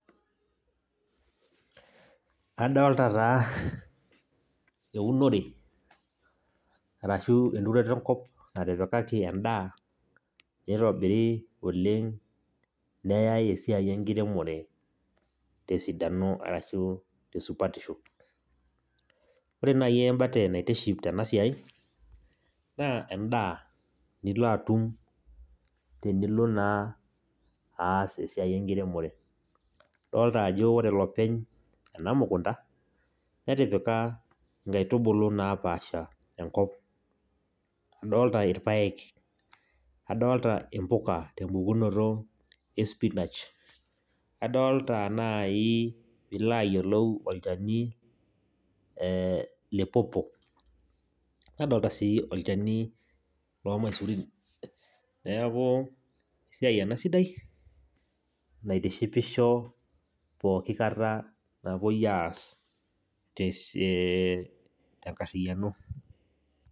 Adolta taa eunore arashu enturoto enkop natipikaki endaa, nitobiri oleng neyai esiai enkiremore tesidano arashu tesupatisho. Ore nai embate naitiship tenasiai, naa endaa nilo atum tenilo naa aas esiai enkiremore. Adolta ajo ore olopeny ena mukunda, netipika nkaitubulu napaasha enkop. Adolta irpaek, adolta impuka tempukunoto e spinach, adolta nai pilo ayiolou olchani le pawpaw ,nadolta si olchani lormaisurin. Neeku esiai ena sidai, naitishipisho pooki kata napoi aas tenkarriyiano.